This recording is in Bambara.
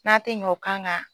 N'an tɛ ɲɛ o kan kan